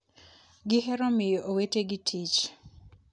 ...gihero miyo owetegi tich...'